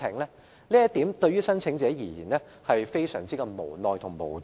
關於這方面，申請者可以說是非常無奈和無助。